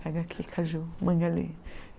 Pega aquele caju, manga ali.